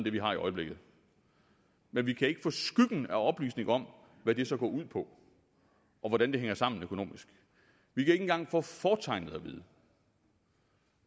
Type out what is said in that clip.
det vi har i øjeblikket men vi kan ikke få skyggen af oplysning om hvad det så går ud på og hvordan det hænger sammen økonomisk vi kan ikke engang få fortegnet at vide